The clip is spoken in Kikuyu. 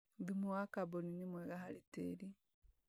Thumu wa kamboni nĩ mwega harĩ tĩri